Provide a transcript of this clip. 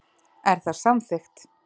Er það samþykkt?